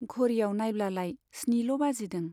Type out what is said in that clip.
घड़ीयाव नाइब्लालाय स्निल' बाजिदों।